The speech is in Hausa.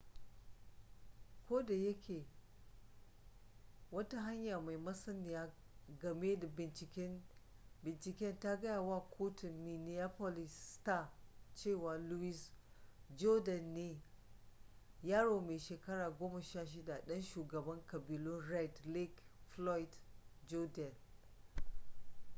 ko da yake wata hanya mai masaniya game da binciken ta gaya wa kotun minneapolis star cewa louis jourdain ne yaro mai shekara 16 ɗan shugaban ƙabilun red lake floyd jourdain